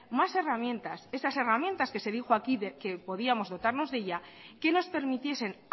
más herramientas esas herramientas que se dijo aquí que podíamos dotarnos de ella que nos permitiesen